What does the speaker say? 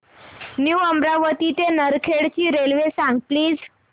new Amravati ते नरखेड ची railway सांग प्लीज